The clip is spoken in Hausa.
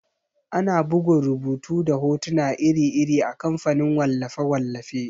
Ana bugun rubutu da hotuna iri-iri a kamfanin wallafe-wallafe.